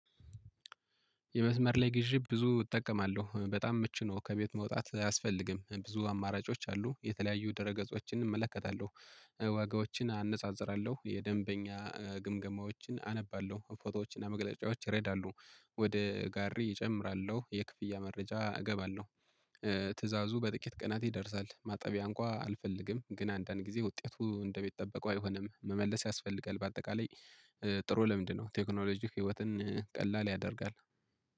የመስመር ላይ ግዢ ብዙ እጠቀማለሁ በጣም ምቹ ነው ከቤት መውጣት አያስፈልግም ብዙ አማራጮች አሉ የተለያዩ ደረገጾችን እመለከታለሁ። ዋጋዎችን አነጻጽራለሁ የደንበኛ ግምገማዎችን አነባለሁ ፎቶዎችን እና መግለጫዎችን ይረዳሉ። ወደ ጋሪ እጨምራለሁ የክፍያ መረጃ እገባለሁ። ትእዛዙ በጥቂት ቀናት ይደርሳል። ማጠቢያ እንኳን አልፈልግም። ግን አንዳንድ ጊዜ ውጤቱ እንደሚጠበቀው አይሆንም መመለስ ያስፈልጋል። በአጠቃላይ ጥሩ ለምንድነው? ቴክኖሎጂ ህይወትን ቀላል ያደርጋል